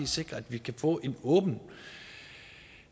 sikre at vi kan få en åben